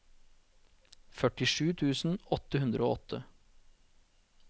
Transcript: førtisju tusen åtte hundre og åtte